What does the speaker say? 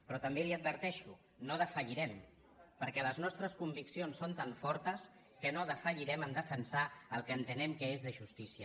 però també li ho adverteixo no defallirem perquè les nostres conviccions són tan fortes que no defallirem a defensar el que entenem que és de justícia